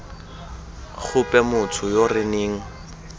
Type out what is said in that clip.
gope motho yo re neng